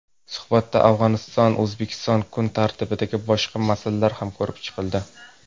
Suhbatda O‘zbekistonAfg‘oniston kun tartibidagi boshqa masalalar ham ko‘rib chiqildi.